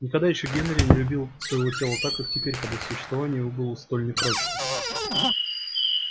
никогда ещё генри не любил своего тела так как теперь когда существование его было столь непрочно